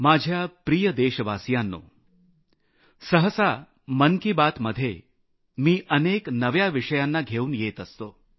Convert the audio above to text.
माझ्या प्रिय देशवासियांनो सहसा मन की बात मध्ये मी अनेक नव्या विषयांना घेऊन येत असतो